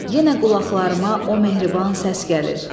Yenə qulaqlarıma o mehriban səs gəlir.